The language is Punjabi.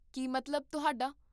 ਕੀ ਮਤਲਬ, ਤੁਹਾਡਾ?